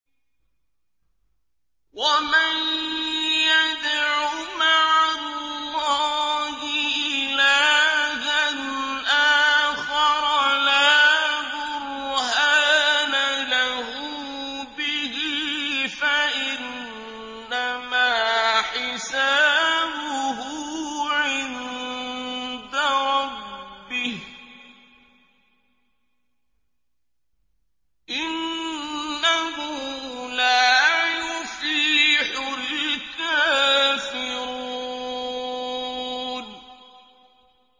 وَمَن يَدْعُ مَعَ اللَّهِ إِلَٰهًا آخَرَ لَا بُرْهَانَ لَهُ بِهِ فَإِنَّمَا حِسَابُهُ عِندَ رَبِّهِ ۚ إِنَّهُ لَا يُفْلِحُ الْكَافِرُونَ